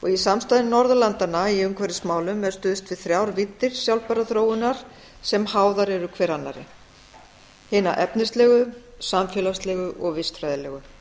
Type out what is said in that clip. í samstarfi norðurlandanna í umhverfismálum er stuðst við þrjár víddir sjálfbærrar þróunar sem háðar eru hver annarri hina efnislegu samfélagslegu og vistfræðilegu